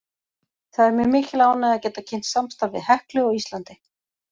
Það er mér mikil ánægja að geta kynnt samstarf við HEKLU á Íslandi.